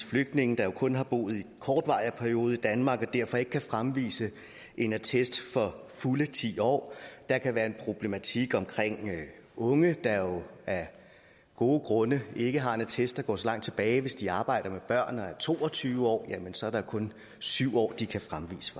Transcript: flygtninge der jo kun har boet en kortvarig periode i danmark og derfor ikke kan fremvise en attest for fulde ti år der kan være en problematik med unge der af gode grunde ikke har en attest der går så langt tilbage hvis de arbejder med børn og er to og tyve år jamen så er der kun syv år de kan fremvise